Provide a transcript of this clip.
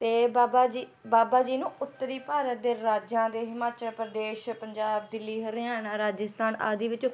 ਤੇ ਬਾਬਾ ਜੀ ਬਾਬਾ ਜੀ ਨੂੰ ਉੱਤਰੀ ਭਾਰਤ ਦੇ ਰਾਜਿਆਂ ਦੇ ਹਿਮਾਚਲ ਪ੍ਰਦੇਸ਼, ਪੰਜਾਬ, ਦਿੱਲੀ, ਹਰਿਆਣਾ, ਰਾਜਸਥਾਨ ਆਦਿ ਵਿੱਚ